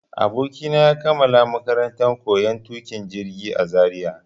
Abokina ya kammala makarantar koyon tuƙin jirgi a Zaria.